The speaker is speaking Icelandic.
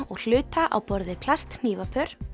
og hluta á borð við plasthnífapör